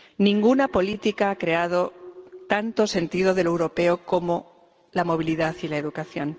Ninguna política ha creado tanto sentido de lo europeo como la movilidad y la educación.